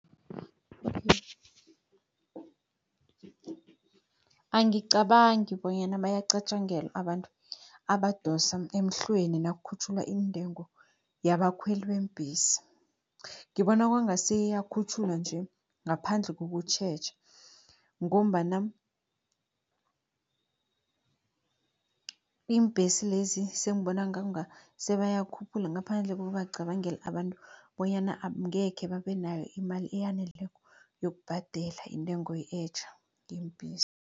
Angicabangi bonyana bayacatjangelwa abantu abadosa emhlweni, nakukhutjhulwa iintengo yabakhweli beembhesi. Ngibona kwanga seyiyakhutjhulwa nje ngaphandle kokutjheja, ngombana iimbhesi lezi sengibona kwanga sebayakhuphula ngaphandle kokubacabangela abantu, bonyana ngekhe babe nayo imali eyaneleko yokubhadela intengo etjha yeembhesi.